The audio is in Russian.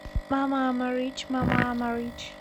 мама ама рич мама ама рич